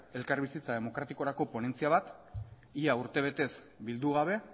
elkarbizitza demokratikorako ponentzia bat ia urtebetez bildu gabe